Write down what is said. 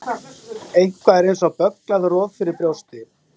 Eitthvað er eins og bögglað roð fyrir brjósti